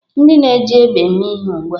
Ndị na-eji egbe eme ihe ugbu a.